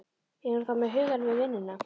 Er hún þá með hugann við vinnuna?